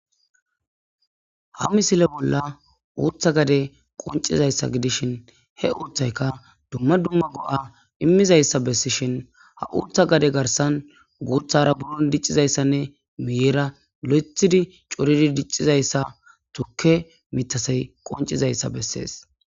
ha misile bolla uutha gade qoncizayssa gidishin he uuthayka dumma dumma go7a immizayssa bessishin ha uutha gade garsan guuthara buron diccizayssanne miyeera lo7ethidi coridi diccizayssa tukke mitasey qoncizayssa bessees